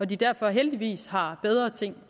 de derfor heldigvis har bedre ting